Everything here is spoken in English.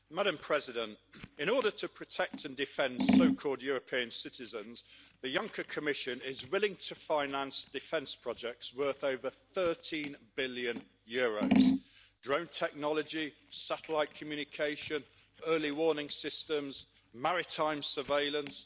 Madam President, in order to protect and defend so-called European citizens, the Juncker Commission is willing to finance defence projects worth over EUR 13 billion drone technology, satellite communication, early warning systems, maritime surveillance.